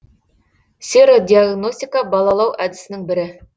серодиогностика балаулау әдісінің бірі